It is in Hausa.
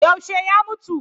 Yaushe ya mutu?